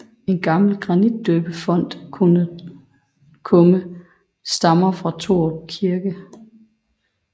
En gammel granitdøbefonts kumme stammer fra Torup Kirke